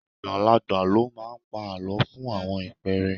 Àgbàlagbà ló máa ń pa àlọ́ fún àwọn ìpẹ́ẹ́rẹ́